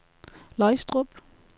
Løgstrup